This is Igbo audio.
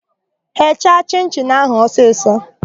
Gheecha chịn-chịn áhụ̀ ọsisọ!